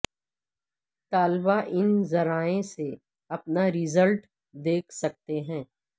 طلبہ ان ذرایعہ سے اپنا ریزلٹ دیکھ سکتے ہیں